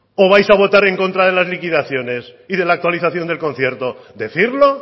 o vais a votar en contra de las liquidaciones y de actualización del concierto decirlo